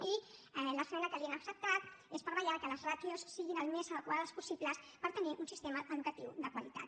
i l’esmena que li hem acceptat és per vetllar que les ràtios siguin el més adequades possible per tenir un sistema educatiu de qualitat